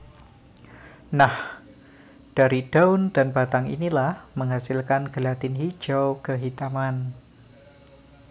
Nah dari daun dan batang inilah menghasilkan gelatin hijau kehitaman